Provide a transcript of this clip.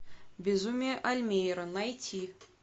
безумие альмейера найти